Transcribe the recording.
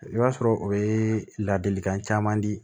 I b'a sɔrɔ o ye ladilikan caman di